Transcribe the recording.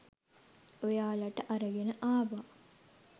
ඔයාලට අරගෙන ආවා.